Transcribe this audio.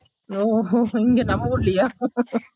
ஓ ஹோ இங்க நம்ம ஊர்லயா